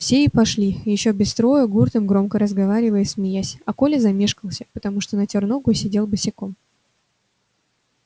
все и пошли ещё без строя гуртом громко разговаривая и смеясь а коля замешкался потому что натёр ногу и сидел босиком